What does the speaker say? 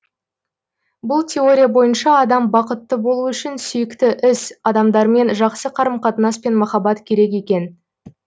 бұл теория бойынша адам бақытты болуы үшін сүйікті іс адамдармен жақсы қарым қатынас пен махаббат керек екен